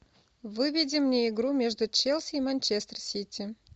выведи мне игру между челси и манчестер сити